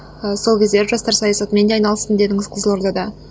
ы сол кездері жастар саясатымен де айналыстым дедіңіз қызылордада